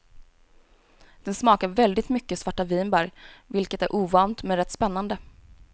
Den smakar väldigt mycket svarta vinbär, vilket är ovant men rätt spännande.